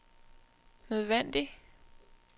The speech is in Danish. nødvendig